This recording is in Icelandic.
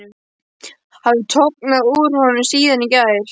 Hafði tognað úr honum síðan í gær?